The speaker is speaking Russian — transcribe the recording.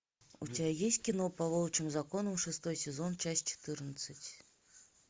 у тебя есть кино по волчьим законам шестой сезон часть четырнадцать